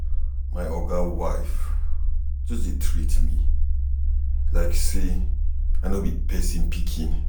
My oga wife just dey treat me like sey I no be pesin pikin.